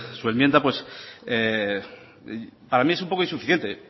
su enmienda para mí es un poco insuficiente